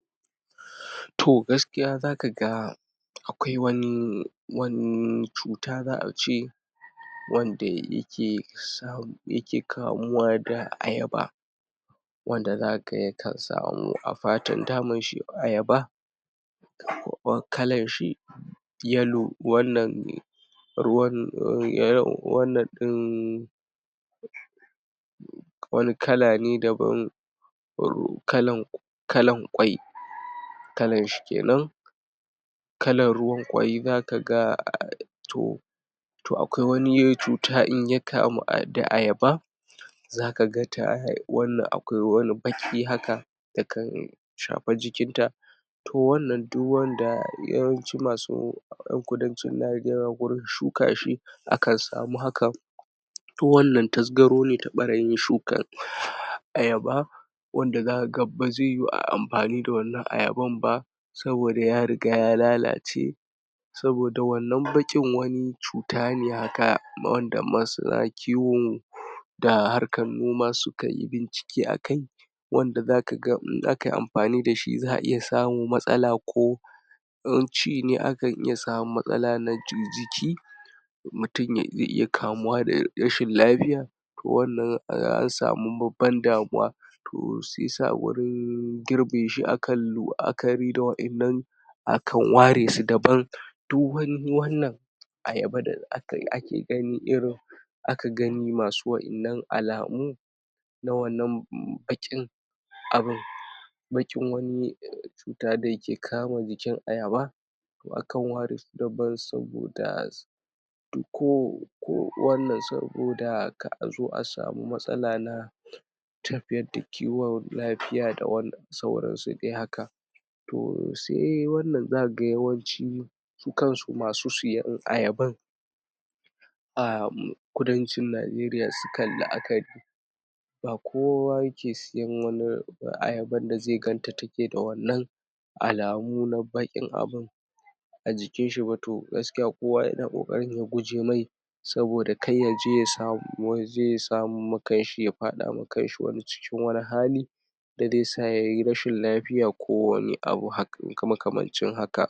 Toh gaskiya za ka ga akwai wani wani cuta za a ce wanda yake sa yake kamuwa da ayaba wanda za ka ga yakan samu a fatan ta dama shi ayaba kalar shi yellow wannan ne ruwan um wannan ɗin wani kala ne daban kalan kalan ƙwai kalan shi kenan kalan ruwan ƙwai za kaga toh to akwai wani cuta in ya kamu da ayaba za ka ga tayi wannan akwai wani baƙi haka yakan shafi jikin ta ko wannan duk wanda yawanci masu a kudancin Najeriya wajen shuka shi akan samu hakan to wannan tasgaro ne ta ɓarayin shukan ayaba wanda za ka ga bazai yiwu ayi amfani da wannan ayaban ba saboda ya riga ya lalace saboda wannan baƙin wani cuta ne haka wanda ma suna kiwo da harkan noma sukayi bincike akai wanda za ka ga in akayi amfani da shi za a samu matsala ko in ci ne akan iya samu matsala na jiki mutum ya iya kamuwa da rashin lafiya to wannan an samu babban damuwa si yasa wajen girbe shi akan la'akari da wannan akan ware su daban duk wani wannan ayaba da akai ake gani irin aka gani masu wa'innan alamu na wannan baƙin abin baƙin wani cuta da yake kama jikin ayaba to akan ware su daban saboda ko wannan ko saboda kar azo a samu matsala na tafiyar da kiwon lafiya da wannan sauran su dai haka to sai wannan zakaga yawanci su kansu masu siyan ayaban um kudancin Najeriya sukan la'akari ba kowa yake siyan ayaban da zai ganta take da wannan alamu na baƙin abun a jikin shi ba to kowa yana ƙoƙarin ya guje mai saboda kar yaje ya samo yaje ya samar ma kanshi wani cikin wani hali da zai sa yayi rashin lafiya da dai wani abu makamncin haka.